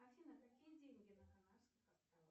афина какие деньги на канарских островах